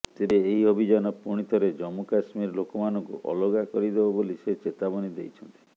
ତେବେ ଏହି ଅଭିଯାନ ପୁଣିଥରେ ଜମ୍ମୁ କଶ୍ମୀର ଲୋକମାନଙ୍କୁ ଅଲଗା କରିଦେବ ବୋଲି ସେ ଚେତାବନୀ ଦେଇଛନ୍ତି